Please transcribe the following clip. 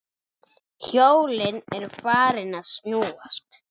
Hjólin eru farin að snúast